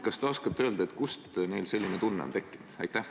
Kas te oskate öelda, kust neil selline tunne on tekkinud?